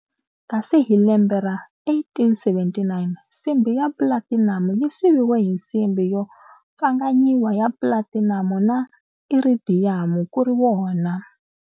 Kasi hi lembe ra 1879 nsimbhi ya platinamu yu siviwe hi nsimbhi yo pfanganyiwa ya Platinamu na Iridhiyamu kuri wona.